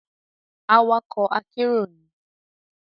Awakọ akero ni